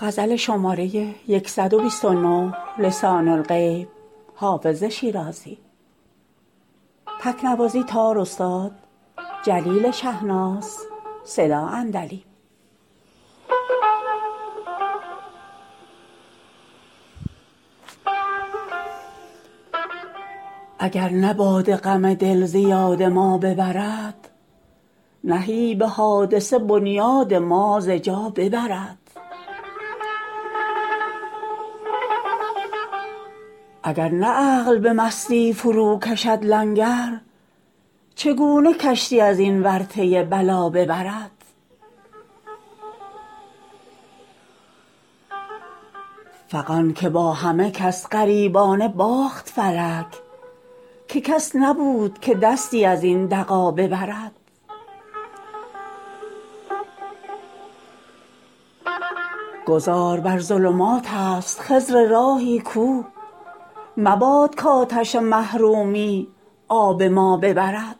اگر نه باده غم دل ز یاد ما ببرد نهیب حادثه بنیاد ما ز جا ببرد اگر نه عقل به مستی فروکشد لنگر چگونه کشتی از این ورطه بلا ببرد فغان که با همه کس غایبانه باخت فلک که کس نبود که دستی از این دغا ببرد گذار بر ظلمات است خضر راهی کو مباد کآتش محرومی آب ما ببرد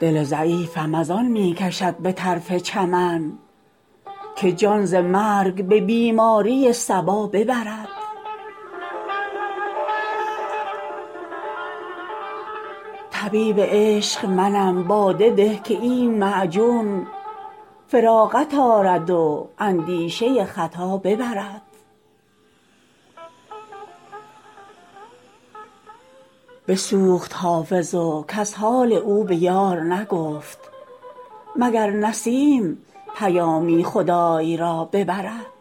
دل ضعیفم از آن می کشد به طرف چمن که جان ز مرگ به بیماری صبا ببرد طبیب عشق منم باده ده که این معجون فراغت آرد و اندیشه خطا ببرد بسوخت حافظ و کس حال او به یار نگفت مگر نسیم پیامی خدای را ببرد